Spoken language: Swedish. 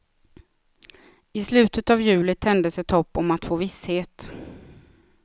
I slutet av juli tändes ett hopp om att få visshet.